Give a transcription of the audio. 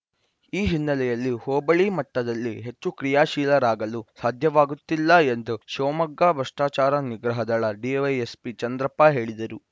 ಈ ಹಿನ್ನೆಲೆಯಲ್ಲಿ ಹೋಬಳಿ ಮಟ್ಟದಲ್ಲಿ ಹೆಚ್ಚು ಕ್ರಿಯಾಶೀಲರಾಗಲು ಸಾಧ್ಯವಾಗುತ್ತಿಲ್ಲ ಎಂದು ಶಿವಮೊಗ್ಗ ಭ್ರಷ್ಟಾಚಾರ ನಿಗ್ರಹ ದಳ ಡಿವೈಎಸ್ಪಿ ಚಂದ್ರಪ್ಪ ಹೇಳಿದರು